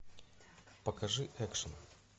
покажи экшн